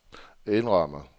indrømmer